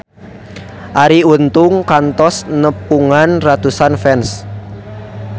Arie Untung kantos nepungan ratusan fans